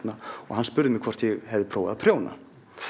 hann spurði hvort ég hefði prófað að prjóna